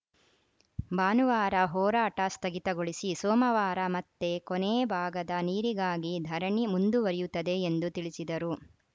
ಭಾನುವಾರ ಹೋರಾಟ ಸ್ಥಗಿತಗೊಳಿಸಿ ಸೋಮವಾರ ಮತ್ತೆ ಕೊನೇ ಭಾಗದ ನೀರಿಗಾಗಿ ಧರಣಿ ಮುಂದುವರಿಯುತ್ತದೆ ಎಂದು ತಿಳಿಸಿದರು